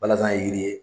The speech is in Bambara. Balazan ye yiri ye